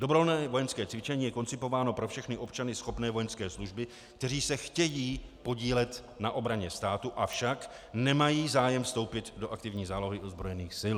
Dobrovolné vojenské cvičení je koncipováno pro všechny občany schopné vojenské služby, kteří se chtějí podílet na obraně státu, avšak nemají zájem vstoupit do aktivní zálohy ozbrojených sil.